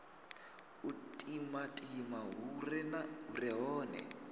u timatima hu re hone